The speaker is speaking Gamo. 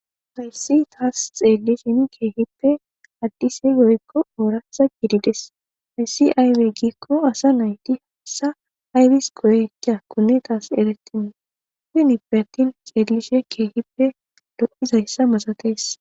Hayssi taasi xeelishin keehippe adise woykko ooraththa gididees. Hessi aybe giiko asa naati hessa abas go7etiyakkonne tas eretenna. Hinippe attin xeelashe keehippe dhoqizayssa masatees.